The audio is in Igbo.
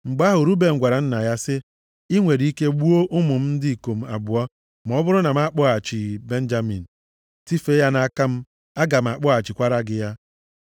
Mgbe ahụ, Ruben gwara nna ya sị, “I nwere ike gbuo ụmụ m ndị ikom abụọ ma ọ bụrụ na m akpọghachighị Benjamin. Tifee ya nʼaka m, aga m akpọghachikwara gị ya.”